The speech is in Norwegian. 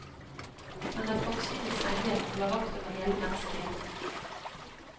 Han er forsynets engel, og holder vakt over hele menneskeheten.